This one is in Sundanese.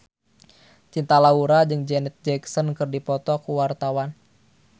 Cinta Laura jeung Janet Jackson keur dipoto ku wartawan